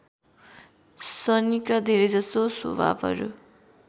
शनिका धेरैजसो स्वभावहरू